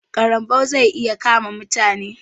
ƙarambau zai iya kama mutane.